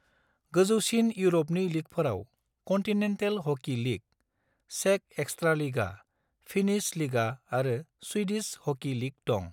गोजौसिन इउर'पनि लीगफोराव कन्टिनेन्टेल हकी लीग, चेक एक्सट्रालिगा, फिनिश लिगा आरो स्वीडिश हकी लीग दं।